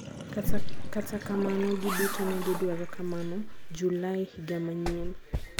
kata kamano gi duto negi dwaro kamano julai higa manyien.